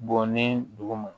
Bɔn ni dugu ma